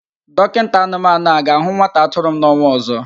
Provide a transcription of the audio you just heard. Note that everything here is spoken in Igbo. Dọkinta anụmanụ a ga-ahụ nwa atụrụ m n'ọnwa ọzọ?